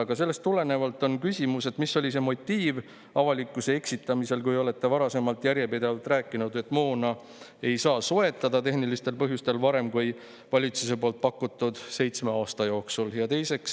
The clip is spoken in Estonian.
Aga sellest tulenevalt on küsimus: mis oli see motiiv avalikkuse eksitamiseks, kui olete varasemalt järjepidevalt rääkinud, et moona ei saa soetada tehnilistel põhjustel varem kui valitsuse pakutud seitsme aasta jooksul?